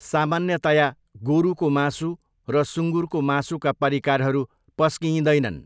सामान्यतया, गोरुको मासु र सुँगुरको मासुका परिकारहरू पस्किइँदैनन्।